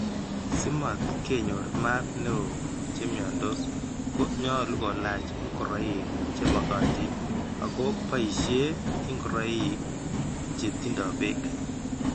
Si mat ke ny'or maat ne oo che mnyandos ko nyalukolach ing'oroik che makatin ako boisie ng'oroik che tindo beek.